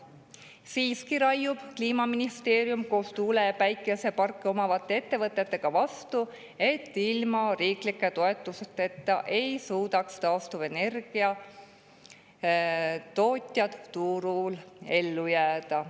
Siiski raiub Kliimaministeerium koos tuule‑ ja päikeseparke omavate ettevõtetega vastu, et ilma riiklike toetusteta ei suudaks taastuvenergia tootjad turul ellu jääda.